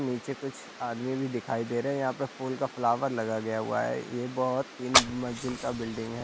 नीचे कुछ आदमी भी दिखाई दे रहे है यहां पे फूल का फ्लावर लगाया गया है ये बहोत तीन मंजिल का बिल्डिंग हैं।